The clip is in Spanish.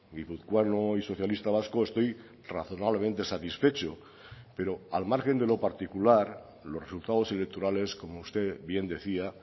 guipuzcoano y socialista vasco estoy razonablemente satisfecho pero al margen de lo particular los resultados electorales como usted bien decía